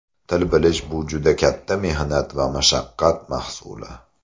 Til bilish bu juda katta mehnat va mashaqqat mahsuli.